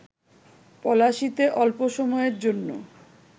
পলাশীতে অল্প সময়ের জন্য